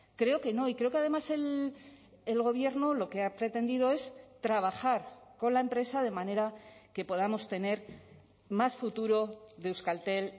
creo que no y creo que además el gobierno lo que ha pretendido es trabajar con la empresa de manera que podamos tener más futuro de euskaltel